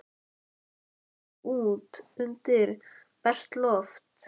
Þeir komu út undir bert loft.